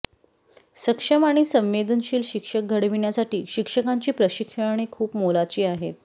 सक्षम आणि संवेदनशील शिक्षक घडविण्यासाठी शिक्षकांची प्रशिक्षणे खूप मोलाची आहेत